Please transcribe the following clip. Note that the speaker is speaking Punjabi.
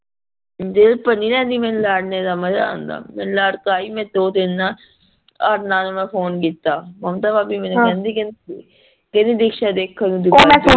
ਦਿਲ ਭਾਰ ਨੀ ਲੈਂਦੀ ਮੈਂਨੂੰ ਲੜਨ ਦਾ ਮਜ਼ਾ ਓਂਦਾਂ ਲੜ ਪਾਈ ਮੈਂ ਦੋ ਤਿਨੰ ਨਾਲ ਔਰ ਨਾਲ ਮੈਂ ਫ਼ੋਨ ਕੀਤਾ ਮਮਤਾ ਭਾਬੀ ਕਿਹੰਦੀ ਕਿਹੰਦੀ ਦਿਕਸ਼ਾ ਦੇਖਣ ਨੂੰ